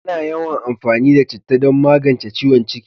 Ana yawan amfani da citta don magance ciwon ciki